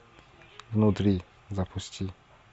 внутри запусти